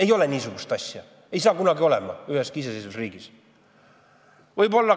Ei ole niisugust asja, seda ei saa kunagi olema üheski iseseisvas riigis!